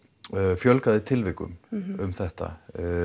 fjölgaði tilvikum um þetta